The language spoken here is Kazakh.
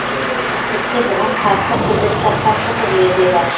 тіпті бұған қарсылық білдіріп жатқан пікірлер де бар